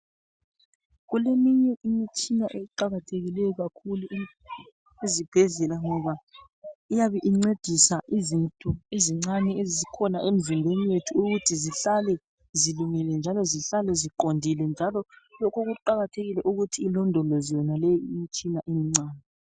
Kuleminye imitshina eqakathekileyo kakhulu kuzibhedlela ngoba iyabe incedisa izinto ezincane ezikhona emzimbeni yethu ukuthi zihlale zilungile njalo zihlale ziqondile. Njalo lokho kuqakathekile ukuthi ilondolozwe yonaleyo imitshina emincane.